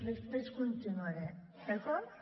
després continuaré d’acord